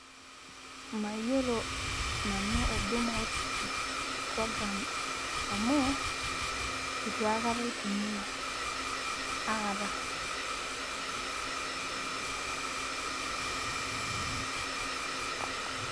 Mayiolo nanu huduma outreach program amu itu aikata aitumia akata.